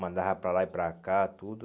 Mandava para lá e para cá, tudo.